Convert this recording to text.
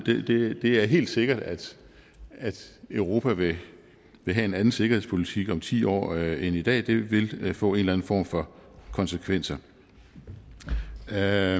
det er helt sikkert at europa vil have en anden sikkerhedspolitik om ti år end i dag det vil vil få en eller anden form for konsekvenser når jeg